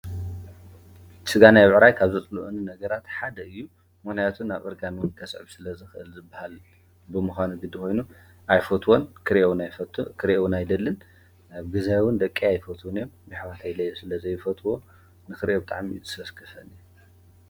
ስጋ ብዕራይ ካብ ዘጽልኡኒን ነገራትሓደ እዩ። ምክንያቱን ኣብ ዕርጋኑውን ከሰብ ስለ ዝኽእል ዝበሃል ብምዃነ ግዲ ኾይኑ ኣይፎትዎን ክርእ ናይፈ ክርእውና ኣይ ደልን ብ ግዜውን ደቀ ኣይፈትውን ዮም። ብኅዋተይ ለይ ስለ ዘይፈትዎ ንኽርእዮብ ብጣዕሚ ትሰስክሰን እየ።